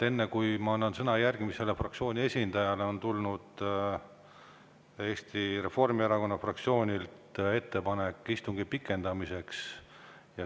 Enne kui ma annan sõna järgmisele fraktsiooniesindajale, ütlen, et Eesti Reformierakonna fraktsioonilt on tulnud ettepanek istungi pikendamiseks.